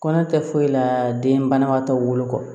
Kɔnɔ tɛ foyi la den banabaatɔw bolo kɔ